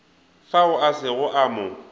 fao a sego a mo